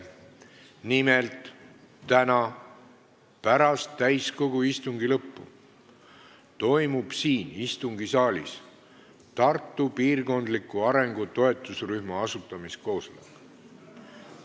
Nimelt, täna pärast täiskogu istungi lõppu toimub siin istungisaalis Tartu piirkondliku arengu toetusrühma asutamiskoosolek.